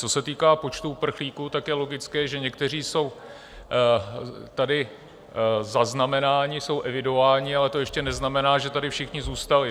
Co se týká počtu uprchlíků, tak je logické, že někteří jsou tady zaznamenáni, jsou evidováni, ale to ještě neznamená, že tady všichni zůstali.